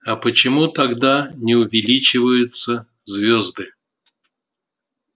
а почему тогда не увеличиваются звезды